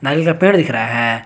नारियल का पेड़ दिख रहा है।